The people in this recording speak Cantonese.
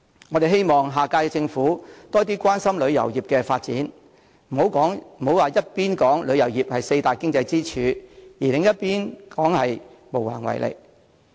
我們希望下屆政府多關心旅遊業的發展，不要一方面說旅遊業是四大經濟支柱之一，另一方面卻說無能為力。